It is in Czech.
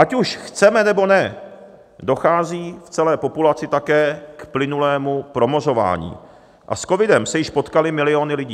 Ať už chceme, nebo ne, dochází v celé populaci také k plynulému promořování a s covidem se již potkaly miliony lidí.